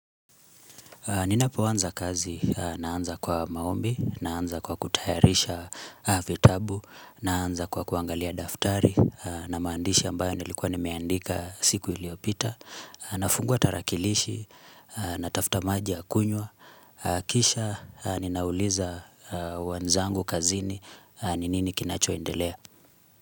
Ninapoanza kazi, naanza kwa maombi, naanza kwa kutayarisha vitabu, naanza kwa kuangalia daftari, na maandishi ambayo nilikuwa nimeandika siku iliopita, nafungua tarakilishi, natafta maji ya kunywa, kisha ninauliza wanzangu kazini, ninini kinachoendelea.